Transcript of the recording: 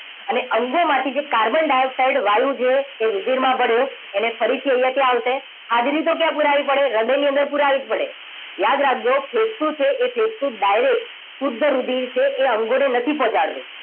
અને અંગોમાંથી જે કાર્બન ડાયોક્સાઇડ વાયુ છે એ રુધિરમાં ભળ્યો એને ફરીથી અહીંયા ક્યાં આવશે હાજરી તો ક્યાં પુરાવી પડે હૃદયની અંદર પુરાવી જ પડે યાદ રાખજો ફેફસુ છે એ એ ફેફસુ direct શુદ્ધ રુધિર છે એ અંગોને નથી પહોંચાડતું